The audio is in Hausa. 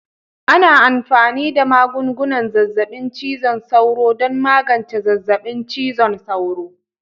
Ana amfani da magungunan zazzabin cizon sauro don magance zazzabin cizon sauro